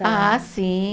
Ah, sim.